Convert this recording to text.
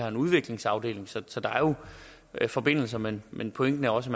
en udviklingsafdeling så så der er forbindelser men men pointen er også